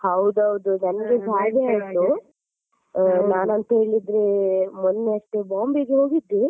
ಹೌದೌದು ನನ್ಗೆಸಾ ಹಾಗೆ ಆಯ್ತು ನಾನ್ ಅಂತೂ ಹೇಳಿದ್ರೆ ಮೊನ್ನೆ ಅಷ್ಟೇ ಬಾಂಬೆಗೆ ಹೋಗಿದ್ದೆ.